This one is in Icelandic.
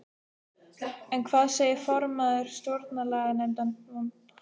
En hvað segir formaður Stjórnlaganefndar, vonbrigði?